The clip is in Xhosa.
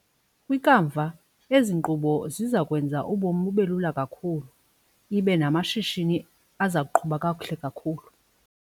Kwikamva ezi nkqubo ziza kwenza ubomi bube lula kakhulu ibe namashishini aza kuqhuba kakuhle kakhulu.